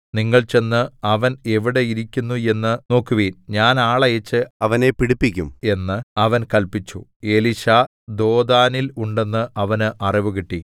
നിങ്ങൾ ചെന്ന് അവൻ എവിടെ ഇരിക്കുന്നു എന്നു നോക്കുവിൻ ഞാൻ ആളയച്ച് അവനെ പിടിപ്പിക്കും എന്ന് അവൻ കല്പിച്ചു എലീശാ ദോഥാനിൽ ഉണ്ടെന്ന് അവന് അറിവുകിട്ടി